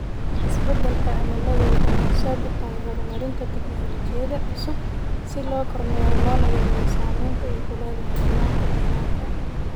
Isbeddelka cimiladu waxay horseed u tahay horumarinta tignoolajiyada cusub si loo kormeero loona yareeyo saamaynta ay ku leedahay nidaamka deegaanka.